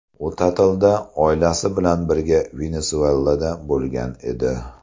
U ta’tilda oilasi bilan birga Venesuelaga borgan edi.